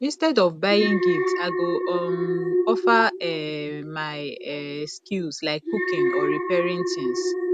instead of buying gift i go um offer um my um skills like cooking or repairing things